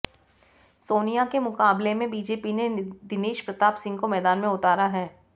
सोनिया के मुकाबले में बीजेपी ने दिनेश प्रताप सिंह को मैदान में उतारा है